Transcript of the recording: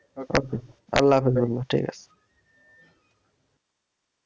Okay আল্লহাফিজ বন্ধু ঠিক আছে